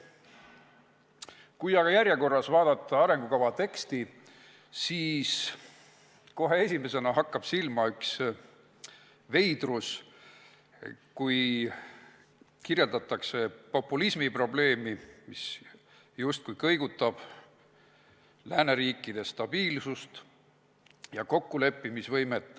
Kui aga arengukava teksti järjekorras vaadata, siis kohe esimesena hakkab silma üks veidrus: kirjeldatakse populismi probleemi, mis justkui kõigutab lääneriikide stabiilsust ja kokkuleppimisvõimet.